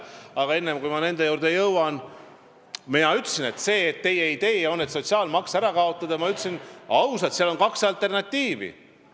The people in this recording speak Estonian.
Aga enne veel, kui ma nende juurde jõuan: mina ütlesin ausalt, et sellel teie sotsiaalmaksu ärakaotamise ideel on kaks alternatiivi.